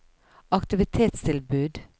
aktivitetstilbud